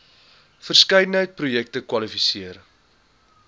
verskeidenheid projekte kwalifiseer